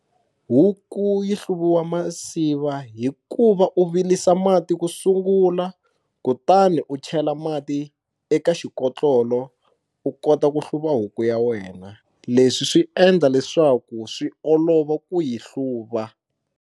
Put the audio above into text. Huku yi hluviwa masiva hi ku va u vilisa mati ku sungula kutani u chela mati eka xikotlolo u kota ku hluva huku ya wena leswi swi endla leswaku swi olova ku yi hluva.